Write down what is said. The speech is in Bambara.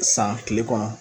San kile kɔnɔ